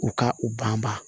U ka u banba